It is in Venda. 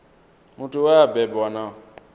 muthu we a bebwa na